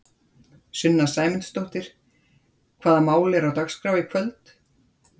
Sunna Sæmundsdóttir: Hvaða mál eru á dagskrá í kvöld?